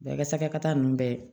Bɛɛ ka sagakata ninnu bɛɛ